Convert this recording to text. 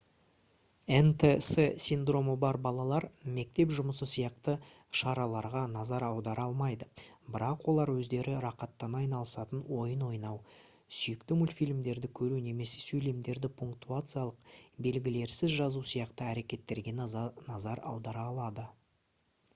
нтс синдромы бар балалар мектеп жұмысы сияқты шараларға назар аудара алмайды бірақ олар өздері рақаттана айнысатын ойын ойнау сүйікті мультфильмдерді көру немесе сөйлемдерді пунктуациялық белгілерсіз жазу сияқты әрекеттерге назар аудара алады